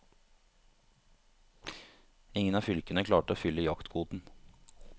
Ingen av fylkene klarte å fylle jaktkvoten.